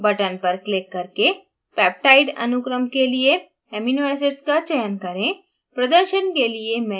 amino acids button पर click करके peptide अनुक्रम के लिए amino acids का चयन करें